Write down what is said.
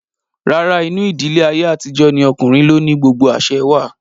Rárá, inú ìdílé ayé àtijó ní okùnrin ló ni gbogbo àsẹ wà